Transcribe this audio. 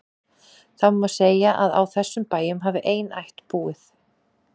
Það má segja að á þessum bæjum hafi ein ætt búið.